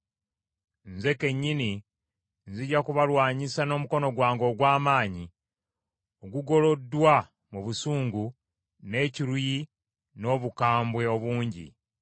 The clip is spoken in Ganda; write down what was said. Nze kennyini nzija kubalwanyisa n’omukono gwange ogw’amaanyi, ogugoloddwa mu busungu, n’ekiruyi n’obukambwe obungi.